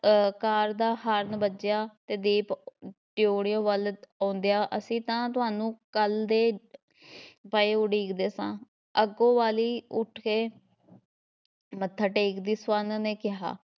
ਅਹ car ਦਾ horn ਵੱਜਿਆ, ਤੇ ਦੀਪ ਡਿਓੜ੍ਹੀ ਵੱਲ ਆਉਂਦਿਆਂ ਅਸੀਂ ਤਾਂ ਤੁਹਾਨੂੰ ਕੱਲ ਦੇ ਪਏ ਉਡੀਕਦੇ ਸਾਂ ਅੱਗੋਂ ਵਾਲੀ ਉੱਠਕੇ ਮੱਥਾ ਟੇਕਦੀ ਸਵਰਨ ਨੇ ਕਿਹਾ,